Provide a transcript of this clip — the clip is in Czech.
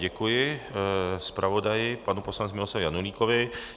Děkuji zpravodaji panu poslanci Miloslavu Janulíkovi.